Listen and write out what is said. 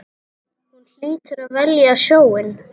Hún hlýtur að velja sjóinn.